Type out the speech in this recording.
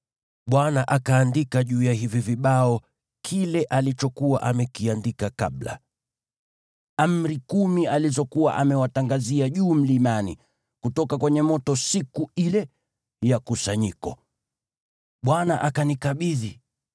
Bwana akaandika juu ya hivi vibao kile alichokuwa amekiandika kabla, Amri Kumi alizokuwa amewatangazia juu mlimani, kutoka kwenye moto siku ile ya kusanyiko. Bwana akanikabidhi.